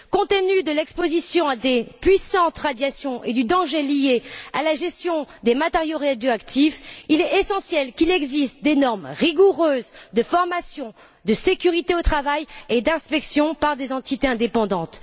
Compte tenu de l'exposition à de puissantes radiations et du danger lié à la gestion des matériaux radioactifs, il est essentiel qu'il y ait des normes rigoureuses de formation de sécurité au travail et d'inspection par des entités indépendantes.